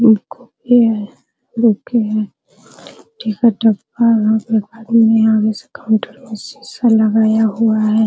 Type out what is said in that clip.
ये कॉपी है आगे से काउंटर मे शीशा लगाया हुआ है ।